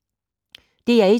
DR1